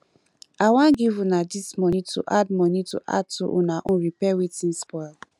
i wan give una dis money to add money to add to una own repair wetin spoil